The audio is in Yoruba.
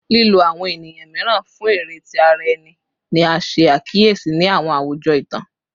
Lilo awọn eniyan miiran fun ere ti ara ẹni ni a ṣe akiyesi ni awọn awujọ itan